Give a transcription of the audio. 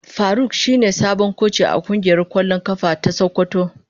Faruk shine sabon koci a kungiyar kwallon kafa ta sokoto.